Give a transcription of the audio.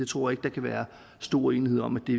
tror ikke der kan være stor uenighed om at det